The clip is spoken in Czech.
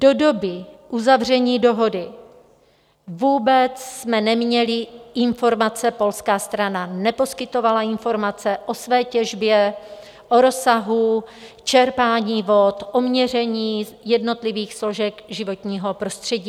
Do doby uzavření dohody jsme vůbec neměli informace, polská strana neposkytovala informace o své těžbě, o rozsahu čerpání vod, o měření jednotlivých složek životního prostředí.